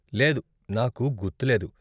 లేదు, నాకు గుర్తులేదు.